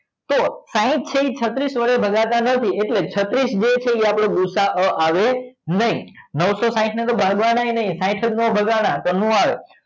તો સાઇટ છે એ છત્રીસ વડે ભગાતા નથી એટલે છત્રીસ છત્રીસ જે છે એ ભુસાઓ આવે નહીં તો નવસો સાઇટ ને તો ભાગવાન આવી નહીં ને